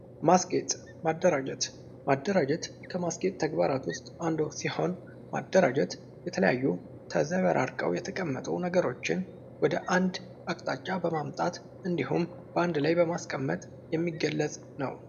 ማስጌጥ ማደራጀትከማስጌጥ ተግባራት ውስጥ አንዱ ሲሆን ማደራጀት የተለያዩ ተዘበራርቀው የተቀመጡ ነገሮችን ወደ አንድ አቅጣጫ በመምጣት እንዲሁም በአንድ ላይ በማስቀመጥ የሚገለጽ ነው።